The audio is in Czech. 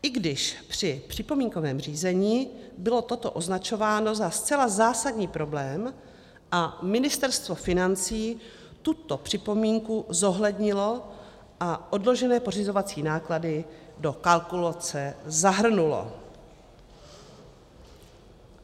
I když při připomínkovém řízení bylo toto označováno za zcela zásadní problém a Ministerstvo financí tuto připomínku zohlednilo a odložené pořizovací náklady do kalkulace zahrnulo.